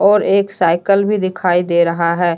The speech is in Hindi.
और एक साइकल भी दिखाई दे रहा है।